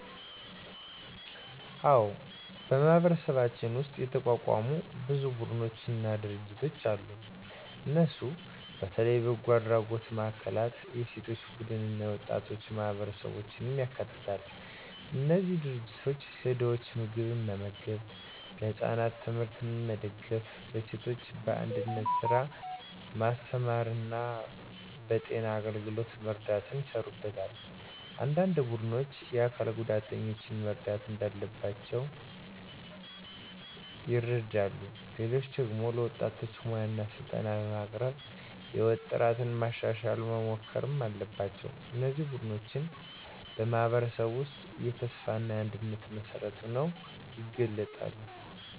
አዎን፣ በማህበረሰባችን ውስጥ የተቋቋሙ ብዙ ቡድኖችና ድርጅቶች አሉ። እነሱ በተለይ በጎ አድራጎት ማዕከላት፣ የሴቶች ቡድኖች እና የወጣቶች ማህበረሰቦችን ያካትታሉ። እነዚህ ድርጅቶች ለድኾች ምግብ መመገብ፣ ለህፃናት ትምህርት መደጋገፍ፣ ለሴቶች በእንግዳነት ስራ ማስተማር እና በጤና አገልግሎት መርዳት ይሰሩበታል። አንዳንድ ቡድኖች የአካል ጉዳተኞችን መርዳት እንዳለባቸው ይረዱ፣ ሌሎች ደግሞ ለወጣቶች ሙያ ስልጠና በማቅረብ የሕይወታቸውን ጥራት ማሻሻል መሞከር አለባቸው። እነዚህ ቡድኖች በማህበረሰብ ውስጥ የተስፋ እና የአንድነት መሠረት ሆነው ይገለጣሉ።